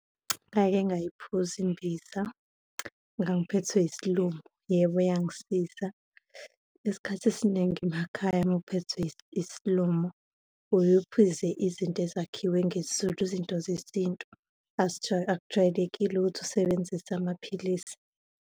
Ngake ngayiphuza imbiza, ngangiphethwe yesilumo. Yebo, yangisiza. Isikhathi esiningi emakhaya uma uphethwe isilumo uye uphuze izinto ezakhiwe ngesiZulu, izinto zesintu, akujwayelekile ukuthi usebenzise amaphilisi.